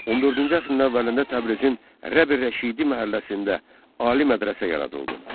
14-cü əsrin əvvəlində Təbrizin Rəb Rəşidi məhəlləsində ali mədrəsə yaradıldı.